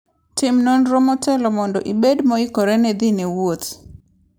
Tim nonro motelo mondo ibed moikore ne dhi e wuoth.